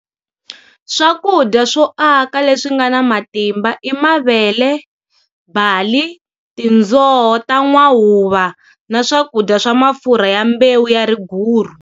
Swakudya swo aka leswi nga na matimba i mavele, bali, tindzoho ta n'wahuva na swakudya swa mafurha ya mbewu ya riguru.